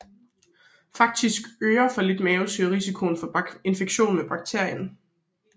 Faktisk øger for lidt mavesyre risikoen for infektion med bakterien